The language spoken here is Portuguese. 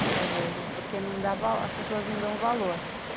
muitas vezes, porque as pessoas não dão valor.